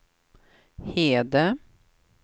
Hede